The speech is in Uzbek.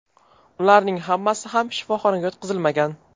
Ularning hammasi ham shifoxonaga yotqizilmagan.